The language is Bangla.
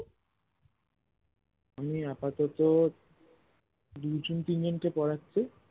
আমি আপাতত দুই জন তিন জন কে পড়াচ্ছি